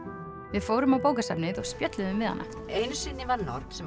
við fórum á bókasafnið og spjölluðum við hana einu sinni var norn sem